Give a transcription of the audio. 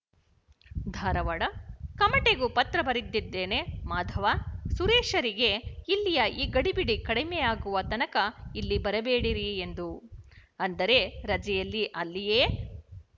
ಧಾರವಾಡ ಕಮಟೆಗೂ ಪತ್ರ ಬರೆದಿದ್ದೇನೆಮಾಧವ ಸುರೇಶರಿಗೆ ಇಲ್ಲಿಯ ಈ ಗಡಿಬಿಡಿ ಕಡಿಮೆಯಾಗುವ ತನಕ ಇಲ್ಲಿ ಬರಬೇಡಿರಿ ಎಂದು ಅಂದರೆ ರಜೆಯಲ್ಲಿ ಅಲ್ಲಿಯೇ